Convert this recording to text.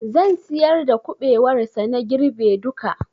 Zan siyar da kuɓewar sa na girbe duka